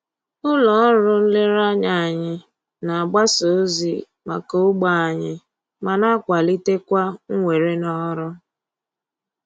Ụlọ ọrụ nlereanya anyị na-agbasa ozi maka ogbe anyị ma na-akwalitekwa mwere n'ọrụ